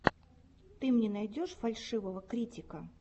ты мне найдешь фальшивого критика